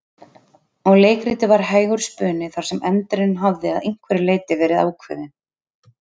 Og leikritið var hægur spuni þar sem endirinn hafði að einhverju leyti verið ákveðinn.